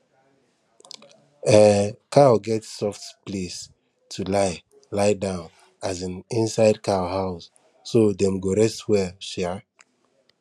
um cow get soft place to lie lie down um inside cow house so dem go rest well um